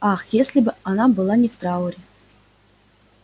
ах если бы она не была в трауре